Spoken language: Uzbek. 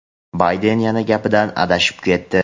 Bayden yana gapidan adashib ketdi.